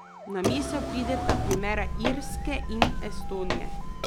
Na misel prideta primera Irske in Estonije.